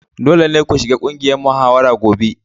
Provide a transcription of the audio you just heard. Dole ne ku shiga ƙungiyar muhawara gobe!